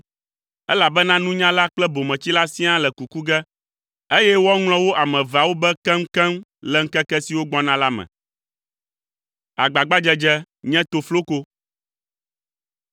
elabena nunyala kple bometsila siaa le kuku ge eye woaŋlɔ wo ame eveawo be keŋkeŋ le ŋkeke siwo gbɔna la me.